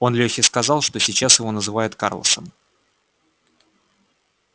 он лёхе сказал что сейчас его называют карлосом